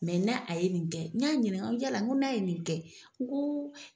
n'a a ye nin kɛ, n ɲa ɲininka, ko yala ko n'a ye nin kɛ ko